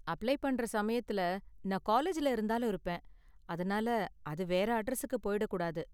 apply பண்ற சமயத்தில் நான் காலேஜ்ல இருந்தாலும் இருப்பேன், அதனால அது வேற அட்ரஸுக்குப் போயிடக் கூடாது